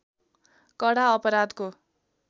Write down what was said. कडा अपराधको